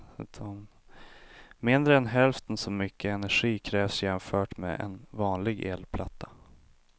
Mindre än hälften så mycket energi krävs jämfört med en vanlig elplatta.